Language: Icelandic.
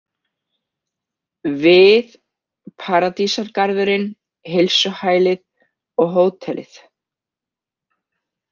Við, Paradísargarðurinn, heilsuhælið og hótelið.